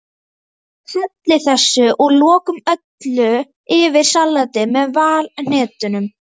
Hellið þessu að lokum öllu yfir salatið með valhnetunum.